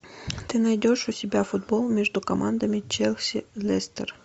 ты найдешь у себя футбол между командами челси лестер